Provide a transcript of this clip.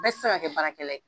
Bɛɛ ti se ka kɛ baarakɛla ye.